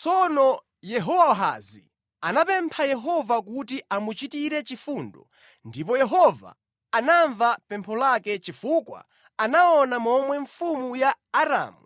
Tsono Yehowahazi anapempha Yehova kuti amuchitire chifundo ndipo Yehova anamva pempho lake chifukwa anaona momwe mfumu ya Aramu